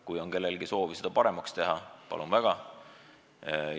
Kui on kellelgi soovi seda eelnõu paremaks teha, palun väga!